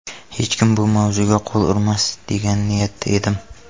Hech kim bu mavzuga qo‘l urmas degan niyatda edim.